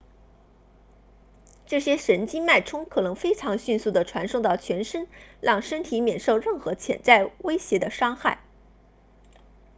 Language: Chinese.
这些神经脉冲可以非常迅速地传送到全身让身体免受任何潜在威胁的伤害